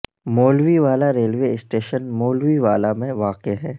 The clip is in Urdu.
مولوی والا ریلوے اسٹیشن مولوی والا میں واقع ہے